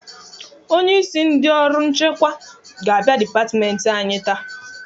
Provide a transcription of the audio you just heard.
Onyeisi ndị ọrụ nchekwa ga-abịa dịpatịmentị anyị taa.